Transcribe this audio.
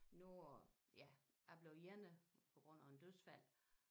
Noget at ja jeg er blevet ene på grund af en dødsfald